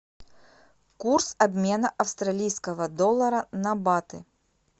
курс обмена австралийского доллара на баты